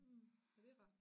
Mh ja det rart